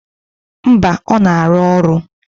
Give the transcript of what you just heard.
Mba, ọ na-arụ ọrụ.